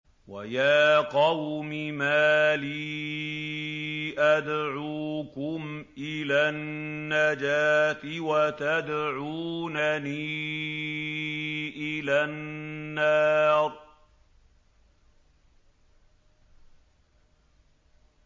۞ وَيَا قَوْمِ مَا لِي أَدْعُوكُمْ إِلَى النَّجَاةِ وَتَدْعُونَنِي إِلَى النَّارِ